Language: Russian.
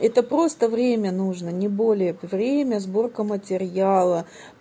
это просто время нужно не более время сборка материала